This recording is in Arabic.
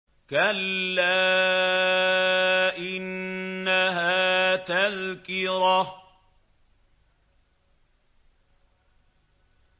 كَلَّا إِنَّهَا تَذْكِرَةٌ